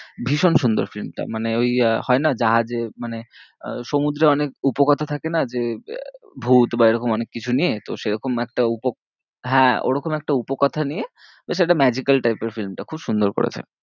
ভীষণ সুন্দর film টা মানে ওই আহ হয় না জাহাজে মানে আহ সমুদ্রে অনেক উপকথা থাকে না যে, ভূত বা এরকম অনেককিছু নিয়ে তো সেরকম একটা হ্যাঁ, ওরকম একটা উপকথা নিয়ে, তো সেটা magical type এর film টা খুব সুন্দর করেছে।